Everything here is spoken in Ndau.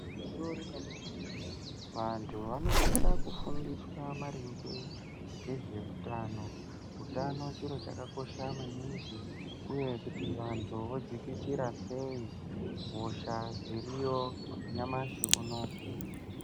Gwinyiso remene-mene, vantu vanosise kufundiswa maringe ngezveutano. Utano chiro chakakosha maningi uye kuti vantu vodzikisira sei hosha dziriyo nyamashi unowu.